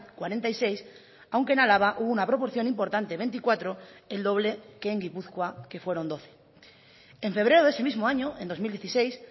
cuarenta y seis aunque en álava hubo una proporción importante veinticuatro el doble que en gipuzkoa que fueron doce en febrero de ese mismo año en dos mil dieciséis